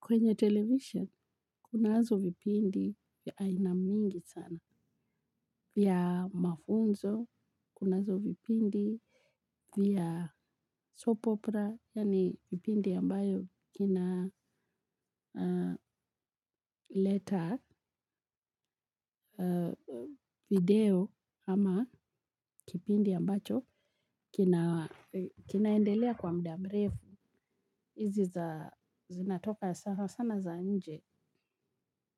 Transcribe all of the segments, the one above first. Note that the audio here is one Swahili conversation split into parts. Kwenye television, kunazo vipindi ya aina mingi sana. Vya mafunzo, kunazo vipindi vya soap opera, yaani vipindi ambayo kina leta video ama kipindi ambacho kinaendelea kwa muda mrefu. Hizi za zinatoka sana sana za nje.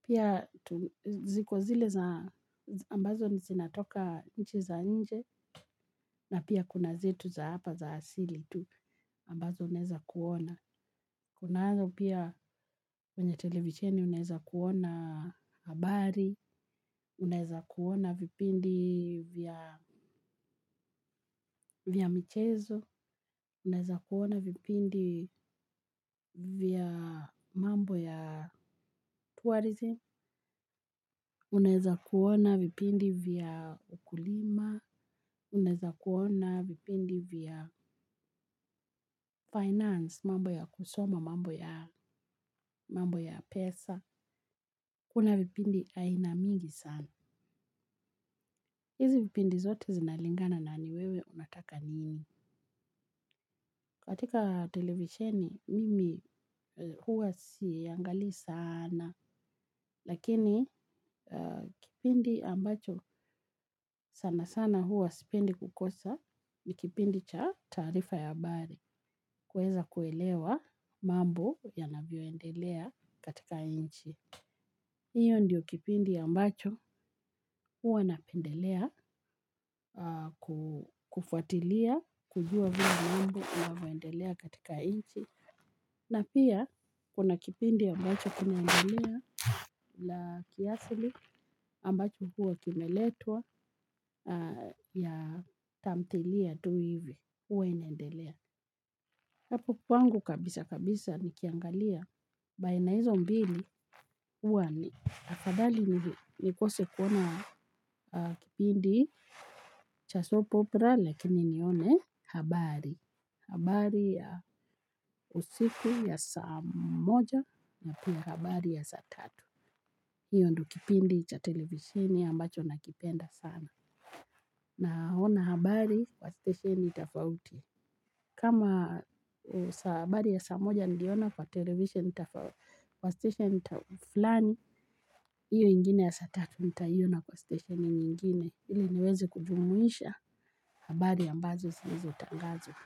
Pia ziko zile za ambazo zinatoka nchi za nje na pia kuna zetu za hapa za asili tu ambazo unaweza kuona. Kunazo pia kwenye televisheni unaweza kuona habari, unaweza kuona vipindi vya vya michezo, unaweza kuona vipindi vya mambo ya tourism, unaweza kuona vipindi vya ukulima, unaweza kuona vipindi vya finance, mambo ya kusoma, mambo ya pesa, kuna vipindi aina mingi sana. Hizi vipindi zote zinalingana na ni wewe unataka nini? Katika televisheni, mimi huwa siangalii sana, lakini kipindi ambacho sana sana huwa sipendi kukosa ni kipindi cha taarifa ya habari, kuweza kuelewa mambo yanavyoendelea katika nchi. Hiyo ndiyo kipindi ambacho huwa napendelea kufuatilia kujua vile mambo inavyoendelea katika nchi. Na pia kuna kipindi ambacho kinaendelea la kiasili ambacho huwa kimeletwa ya tamthilia tu hivi, huwa inaendelea. Hapo kwangu kabisa kabisa nikiangalia baina hizo mbili huwa ni. Afadhali nikose kuona kipindi cha soap opera lakini nione habari. Habari ya usiku ya saa moja na pia habari ya saa tatu. Hiyo ndo kipindi cha televisheni ambacho nakipenda sana. Naona habari kwa stesheni tofauti. Kama habari ya saa moja niliona kwa televisheni, kwa station fulani. Hiyo ingine ya saa tatu nitaiona kwa stesheni nyingine, ili niwezi kujumuisha habari ambazo zilizotangazwa.